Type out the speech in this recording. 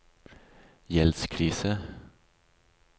gjeldskrise